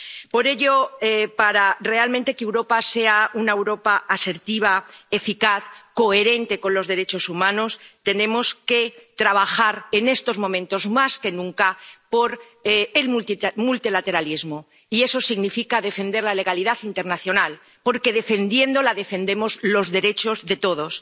Por ello, para que realmente Europa sea una Europa asertiva, eficaz, coherente con los derechos humanos, tenemos que trabajar en estos momentos más que nunca por el multilateralismo, y eso significa defender la legalidad internacional, porque defendiéndola defendemos los derechos de todos.